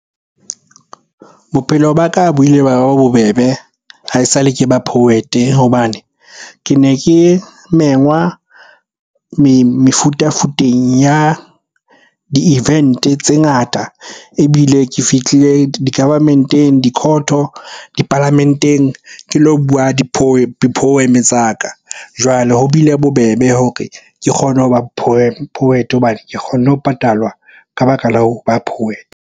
Bophelo ba ka bo ile ba ba bobebe ha esale ke ba poet-e hobane ke ne ke mengwa mefutafuteng ya di-event-tse ngata. Ebile ke fihlile di-government-eng, di-court-o, dipalamenteng ke lo bua di-poem-e tsa ka. Jwale ho bile bobebe hore ke kgone ho ba poet-e hobane ke kgonne ho patalwa ka baka la ho ba .